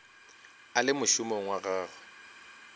a le mošomong wa gagwe